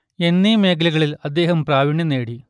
എന്നീ മേഖലകളിൽ അദ്ദേഹം പ്രാവീണ്യം നേടി